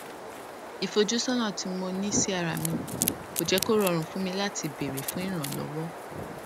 ìfojúsónà tí mo ní sí ara mi kò jé kó rọrùn fún mi láti béèrè fún ìrànlówó